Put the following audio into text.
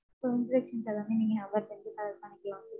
So informations எல்லாமே நீங்க அவர்ட்ட இருந்து gather பண்ணிக்கலாம் sir.